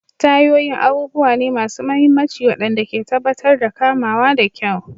Tayoyin abubuwa ne masu mahimmanci waɗanda ke tabbatar da kamawa da kyau.